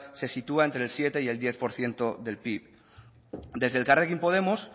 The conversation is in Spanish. se sitúa entre el siete y el diez por ciento del pib desde elkarrekin podemos